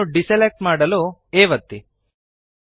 ಇದನ್ನು ಡಿಸೆಲೆಕ್ಟ್ ಮಾಡಲು A ಒತ್ತಿ